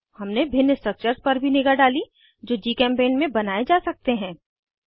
हमने भिन्न स्ट्रक्चर्स पर भी निगाह डाली जो जीचेम्पेंट में बनाये जा सकते हैं